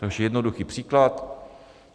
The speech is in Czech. Takže jednoduchý příklad.